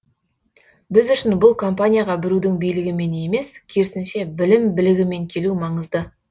біз үшін бұл компанияға біреудің билігімен емес керісінше білім білігімен келу маңызды